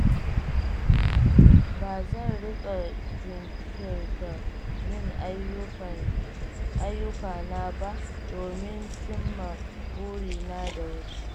Ba zan riƙa jinkirta yin ayyukana ba domin cimma burina da wuri.